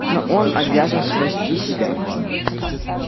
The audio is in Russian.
но он обязан спасти себя